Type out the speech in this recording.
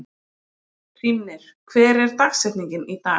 Hrímnir, hver er dagsetningin í dag?